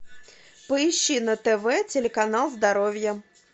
поищи на тв телеканал здоровье